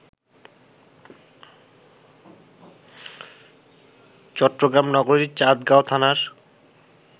চট্টগ্রাম নগরীর চান্দগাঁও থানার